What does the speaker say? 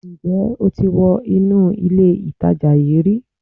Ǹ jẹ́ o ti wọ inú ilé ìtajà yíì ri